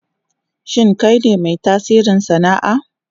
Shin kai ne mai tasiri sana'a?